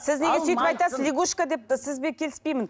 сіз неге сөйтіп айтасыз лягушка деп сізбен келіспеймін